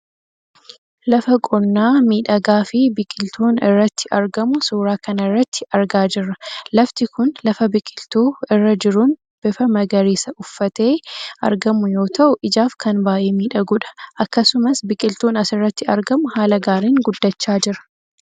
Lafa qonnaa miidhagaafi biqiltuun irratt argamu suuraa kanarratti argaa jirra lafti kun lafa biqiltuu irra jiruun bifa magariisaa uffatee argamu yoo ta'u ijaaf kan baayyee miidhagudha akkasumas biqiltuun asirratti argamu haala gaariin guddachaa jira.